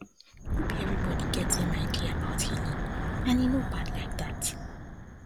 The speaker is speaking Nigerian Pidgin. no be everybody get same idea about healing and e no bad like that